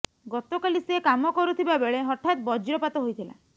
ଗତକାଲି ସେ କାମ କରୁଥିବା ବେଳେ ହଠାତ ବଜ୍ରପାତ ହୋଇଥିଲା